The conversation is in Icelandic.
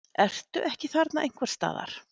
Ertu ekki þarna einhvers staðar?